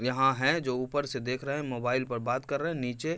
यहाँ है जो ऊपर से देख रहे है मोबाईल पर बात कर रहे है। नीचे--